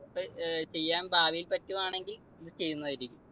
അപ്പൊ ചെയ്യാൻ ഭാവിയിൽ പറ്റുവാണെങ്കിൽ അത് ചെയ്യുന്നതായിരിക്കും.